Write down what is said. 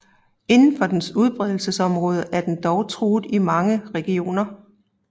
Indenfor dens udbredelsesområder er den dog truet i mange regioner